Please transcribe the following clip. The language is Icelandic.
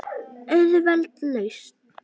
Auðveld lausn.